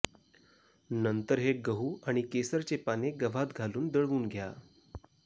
नंतर हे गहू आणि केसरचे पाने गव्हात घालून दळवून घ्या